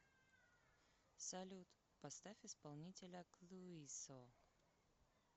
салют поставь исполнителя клуисо